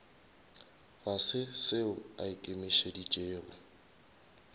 ga se seo a ikemišeditšego